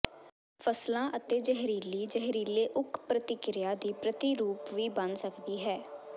ਫਸਲਾਂ ਅਤੇ ਜ਼ਹਿਰੀਲੀ ਜ਼ਹਿਰੀਲੇ ਓਕ ਪ੍ਰਤੀਕ੍ਰਿਆ ਦੀ ਪ੍ਰਤੀਰੂਪ ਵੀ ਬਣ ਸਕਦੀ ਹੈ